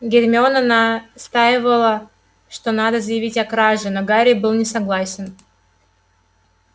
гермиона настаивала что надо заявить о краже но гарри был не согласен